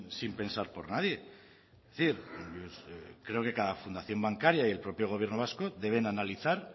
sin pensar por nadie es decir yo creo que cada fundación bancaria y el propio gobierno vasco deben analizar